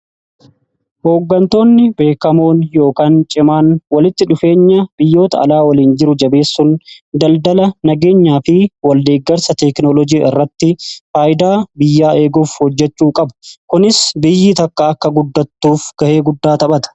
Hoggantoonni beekamoon yookaan cimaan walitti dhufeenya biyyoota alaa waliin jiru jabeessun daldala nageenyaa fi waldeggarsa teknoolojii irratti faayidaa biyyaa eeguuf hojjechuu qabu. Kunis biyyi takkaa akka guddattuuf gahee guddaa taphata.